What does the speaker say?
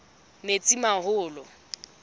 metsimaholo